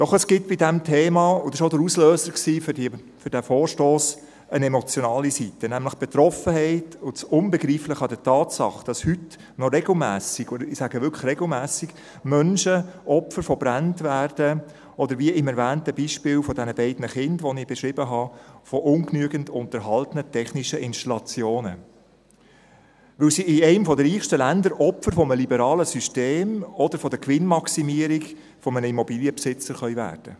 Doch es gibt bei diesem Thema – dies war auch der Auslöser für diesen Vorstoss – eine emotionale Seite, nämlich die Betroffenheit und das Unbegreifliche an der Tatsache, dass heute noch regelmässig – ich betone: regelmässig – Menschen Opfer von Bränden werden, oder wie am erwähnten Beispiel der beiden Kinder, das ich beschrieben habe, von ungenügend unterhaltenen technischen Installationen, weil sie in einem der reichsten Länder Opfer eines liberalen Systems oder der Gewinnmaximierung eines Immobilienbesitzers werden können.